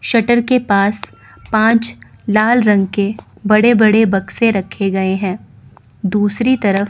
shutter के पास पांच लाल रंग के बड़े बड़े बक्से रखे गए हैं दूसरी तरफ--